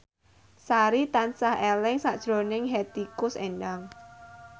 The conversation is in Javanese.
Sari tansah eling sakjroning Hetty Koes Endang